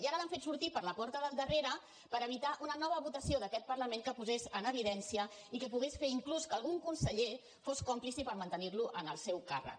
i ara l’han fet sortir per la porta del darrere per evitar una nova votació d’aquest parlament que posés en evidència i que pogués fer inclús que algun conseller fos còmplice per mantenir lo en el seu càrrec